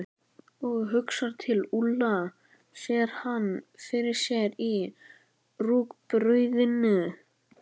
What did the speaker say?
Og hugsar til Úlla, sér hann fyrir sér í rúgbrauðinu.